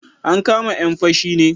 An kama 'yan fashi ne